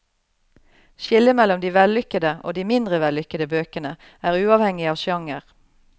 Skillet mellom de vellykede og de mindre vellykkede bøkene er uavhengig av sjanger.